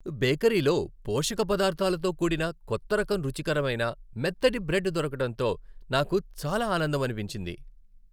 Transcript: బేకరీలో పోషక పదార్ధాలతో కూడిన కొత్త రకం రుచికరమైన మొత్తటి బ్రెడ్ దొరకడంతో నాకు చాలా ఆనందమనిపించింది.